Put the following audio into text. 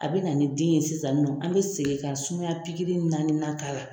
A bɛ na ni den ye sisan nɔ an bɛ segin ka sumaya naani na k'a la.